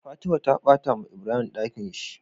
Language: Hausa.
Fatima ta batawa ibrahim Ɗakinshi